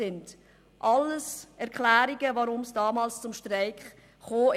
Das sind alles Erklärungen, weshalb es damals zum Streik kam.